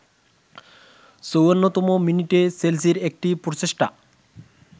৫৪তম মিনিটে চেলসির একটি প্রচেষ্টা